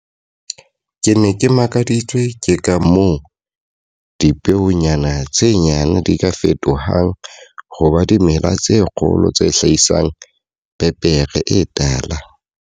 Ke ne ke makaditswe ke ka moo dipeonyana tse nyane di ka fetohang ho ba dimela tse kgolo tse hlahisang pepere e tala.